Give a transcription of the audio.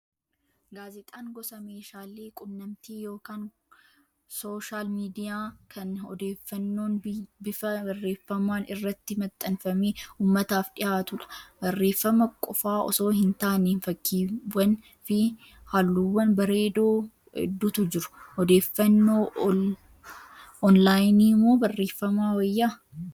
Gaazexaan gosa meeshaalee quunnamtii yookaan sooshaal miidiyaa kan odeeffannoon bifa barreeffamaan irratti maxxanfamee uummataaf dhiyaatudha. Barreeffama qofaa osoo hin taane, fakkiiwwanii fi haluuwwan bareedoo hedduutu jiru. Odeeffannoo onlaayinii moo barreeffamaa wayyaa?